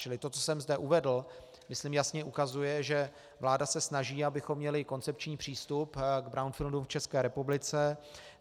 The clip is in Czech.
Čili to, co jsem zde uvedl, myslím jasně ukazuje, že vláda se snaží, abychom měli koncepční přístup k brownfieldům v České republice.